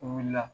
O wulila